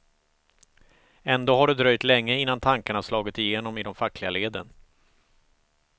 Ändå har det dröjt länge innan tankarna har slagit igenom i de fackliga leden.